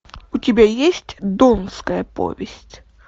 у тебя есть донская повесть